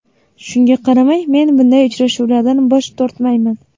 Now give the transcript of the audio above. Shunga qaramay, men bunday uchrashuvlardan bosh tortmayman.